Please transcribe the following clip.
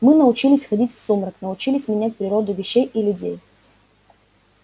мы научились ходить в сумрак научились менять природу вещей и людей